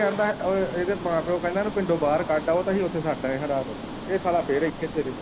ਇਦਾਂ ਇਹਦੇ ਮਾਂ ਪਿਉ ਕਹਿੰਦੇ ਇਹਨੂੰ ਪਿੰਡੋਂ ਬਾਹਰ ਕੱਢ ਆਉ ਤੇ ਅਸੀਂ ਉੱਥੇ ਛੱਡ ਆਏ ਹੀ ਰਾਤ ਇਹ ਸਾਲਾ ਫਿਰ ਇੱਥੇ ਹੀ ਫਿਰੇ।